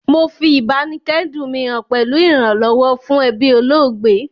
Mo fi ìbáníkẹ́dùn mi han pẹ̀lu ìrànlọ́wọ́ fún ebí olóògbé